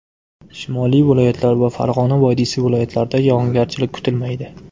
Shimoliy viloyatlar va Farg‘ona vodiysi viloyatlarida yog‘ingarchilik kutilmaydi.